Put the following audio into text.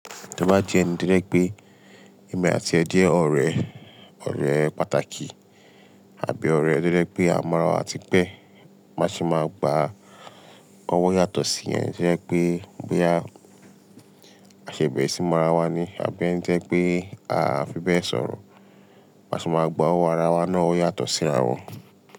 Tí o bá jẹ́ ẹni tí ó ní je pé emi àti e jẹ ọ̀rẹ́, ọ̀rẹ́ pàtàkì àbí ọ̀rẹ́ tó je pé àmọ̀ra àti pẹ́, má ṣe máa ba ọwọ́ yàtọ̀ sí yẹn. To jẹ́ pé bóyá a ṣẹ̀se bẹ̀re sí ìmọ̀ra wa ni àbí ẹ́ńi to jẹ́ pé a fi bẹ́ẹ̀ sọ̀rọ̀, bá ṣe máa gba ọwọ́ ara wa náà ó yàtọ̀ sí ara wọn.